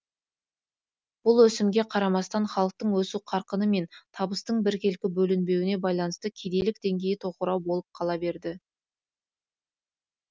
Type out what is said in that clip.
бұл өсімге қарамастан халықтың өсу қарқыны мен табыстың біркелкі бөлінбеуіне байланысты кедейлік деңгейі тоқырау болып қала берді